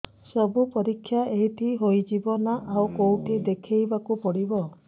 ସବୁ ପରୀକ୍ଷା ଏଇଠି ହେଇଯିବ ନା ଆଉ କଉଠି ଦେଖେଇ ବାକୁ ପଡ଼ିବ